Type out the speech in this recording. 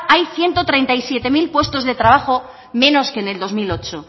hay ciento treinta y siete mil puestos de trabajo menos que en el dos mil ocho